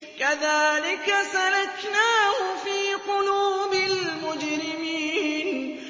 كَذَٰلِكَ سَلَكْنَاهُ فِي قُلُوبِ الْمُجْرِمِينَ